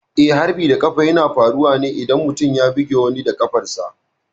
Eh, harbin da ƙafa na faruwa ne idan mutum ya bugi wani da ƙafarsa.